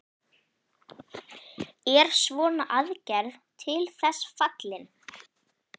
Er svona aðgerð til þess fallin?